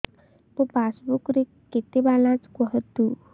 ମୋ ପାସବୁକ୍ ରେ କେତେ ବାଲାନ୍ସ କୁହନ୍ତୁ